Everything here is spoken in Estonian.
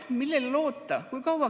Millele loota?